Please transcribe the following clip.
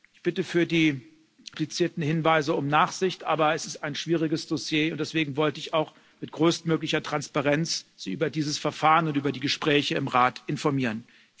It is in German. Ich bitte für die komplizierten Hinweise um Nachsicht, aber es ist ein schwieriges Dossier und deswegen wollte ich Sie auch mit größtmöglicher Transparenz über dieses Verfahren und über die Gespräche im Rat informieren.